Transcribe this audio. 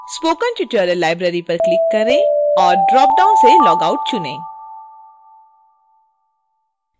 spoken tutorial library पर click करें और dropdown से log out चुनें